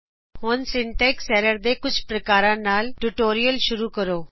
ਹੁਣ syntax errors ਦੇ ਕੁਝ ਪ੍ਰਕਾਰਾ ਨਾਲ ਟਿਯੂਟੋਰਿਅਲ ਸ਼ੁਰੂ ਕਰੋਂ